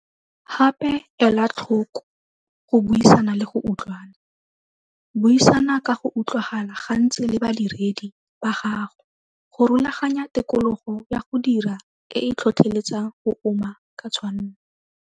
Gape, ela tlhoko go buisana le go utlwana. Buisana ka go utlwagala gantsi le badiredi ba gago go rulaganya tikologo ya go dira e e tlhotlheletsang go uma ka tshwanno.